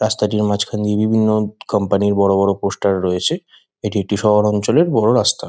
রাস্তাটির মাঝখান দিয়ে বিভিন্ন উম কোম্পানি -র বড় বড় পোস্টার রয়েছে। এটি একটি শহর অঞ্চলের বড় রাস্তা।